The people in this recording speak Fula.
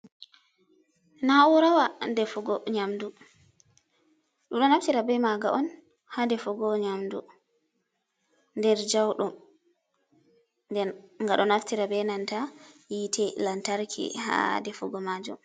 Na, urawa defugo nyamdu. Ɗumɗo nafti be maga hadefugo nyamdu nder jauɗum, nden ngaɗo naftira be nanta yite lantarki ha defugo majum.